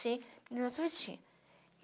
Assim